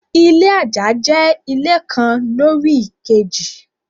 Ilé àjà jẹ́ ilé kan lórí èkejì.